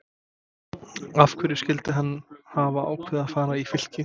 Af hverju skyldi hann hafa ákveðið að fara í Fylki?